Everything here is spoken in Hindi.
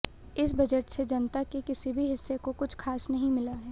इस बजट से जनता के किसी भी हिस्से को कुछ खास नहीं मिला है